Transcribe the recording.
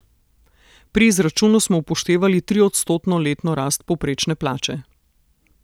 Pri izračunu smo upoštevali triodstotno letno rast povprečne plače.